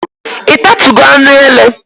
Ị tatugo anụ ele?